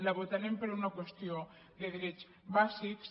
la votarem per una qüestió de drets bàsics